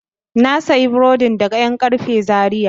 Na sayi burodin daga yankarfe Zaria.